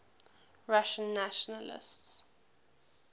russian nationalists